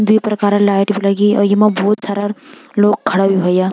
द्वि प्रकारा लाइट भी लगीं और येमा भोत सारा लोग खड़ा भी होयां।